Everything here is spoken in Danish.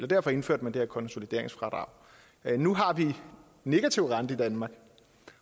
derfor indførte man det her konsolideringsfradrag nu har vi en negativ rente i danmark